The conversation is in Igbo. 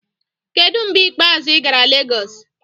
Kedu mgbe ikpeazụ ị gara Lagos?